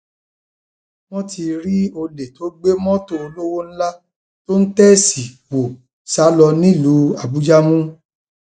wọn ti rí olè tó gbé mọtò olówó ńlá tó ń tẹẹsì wọ sá lọ nílùú àbújá mú